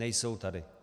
Nejsou tady.